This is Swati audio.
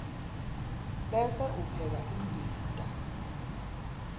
bese upheka imbita